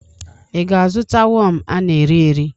Ị ga-azụta wọm a na-erị erị